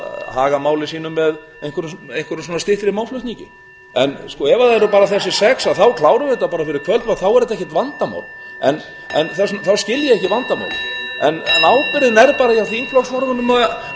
haga máli sínu með einhverjum styttri málflutningi ef það eru bara þessi sex þá klárum við þetta bara fyrir kvöldmat þá er þetta ekkert vandamál þá skil ég ekki vandamálið en ábyrgðin er bara hjá þingflokksformönnum að